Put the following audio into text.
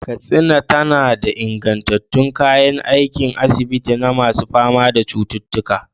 Katsina tana da ingantattun kayan aikin asibiti na masu fama da cututtuka.